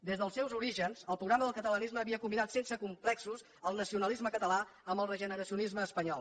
des dels seus orígens el programa del catalanisme havia combinat sense complexos el nacionalisme català amb el regeneracionisme espanyol